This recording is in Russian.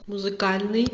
музыкальный